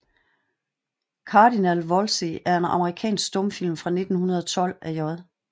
Cardinal Wolsey er en amerikansk stumfilm fra 1912 af J